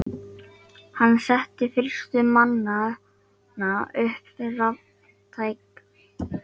Hann setti fyrstur manna upp raftækjaverslun í landsfjórðungnum.